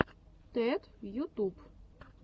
тед ютуб